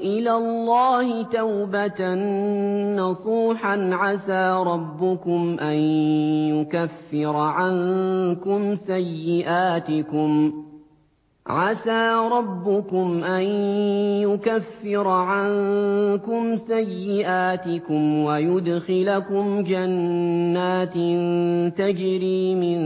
إِلَى اللَّهِ تَوْبَةً نَّصُوحًا عَسَىٰ رَبُّكُمْ أَن يُكَفِّرَ عَنكُمْ سَيِّئَاتِكُمْ وَيُدْخِلَكُمْ جَنَّاتٍ تَجْرِي مِن